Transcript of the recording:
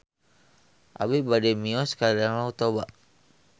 Abi bade mios ka Danau Toba